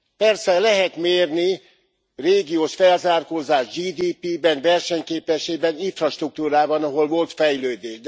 Persze lehet mérni régiós felzárkózást GDP ben, versenyképességben, infrastruktúrában, ahol volt fejlődés.